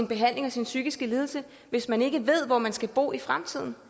behandlingen af sin psykiske lidelse hvis man ikke ved hvor man skal bo i fremtiden